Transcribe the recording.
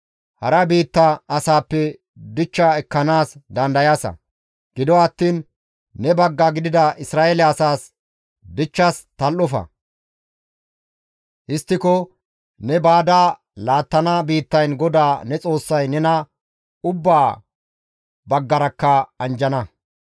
Hara biitta asaappe dichcha ekkanaas dandayaasa; gido attiin ne bagga gidida Isra7eele asaas dichchas tal7ofa; histtiko ne baada laattana biittayn GODAA ne Xoossay nena ubba baggarakka anjjana.